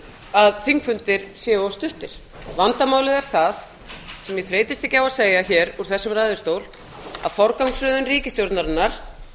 að þingfundir séu of stuttir vandamálið er það sem ég þreytist ekki á að segja hér úr þessum ræðustól að forgangsröðun ríkisstjórnarinnar